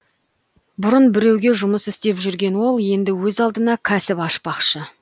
бұрын біреуге жұмыс істеп жүрген ол енді өз алдына кәсіп ашпақшы